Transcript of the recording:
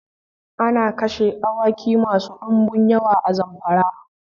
Ana kashe awaki masu dinbum yawa a Zamfara